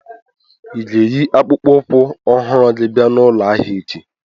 Ị ga-eyi akpụkpọ ụkwụ ọhụrụ gị bia n'ụlọ ahịa echi?